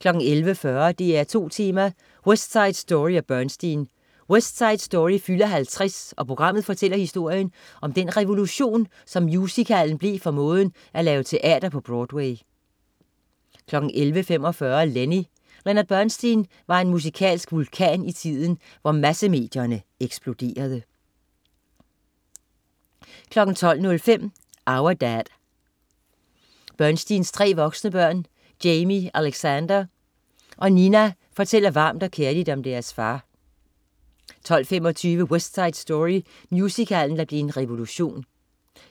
11.40 DR2 Tema: West Side Story og Bernstein. West Side Story fylder 50 og programmet fortæller historien om den revolution, som musicalen blev for måden at lave teater på Broadway 11.45 Lenny. Leonard Bernstein var en musikalsk vulkan i tiden, hvor massemedierne eksploderede 12.05 Our Dad. Bernsteins tre voksne børn, Jamie Alexander og Nina, fortæller varmt og kærligt om deres far 12.25 West Side Story. Musicalen, der blev en revolution